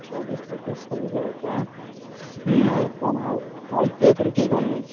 ଚବିଶ, ପଚିଶ, ଛବିଶ ହବ ହାଁ ହୁଁ ଆଉ କଣ ଆଉ ଦାଇତ୍ଵ ଏଥର କିଏ କଣ ନେଇଛି।